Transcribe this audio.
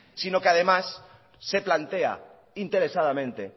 sino que además se plantea interesadamente